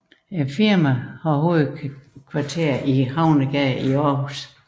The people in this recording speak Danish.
Firmaet har hovedkvarter i Havnegade i Aarhus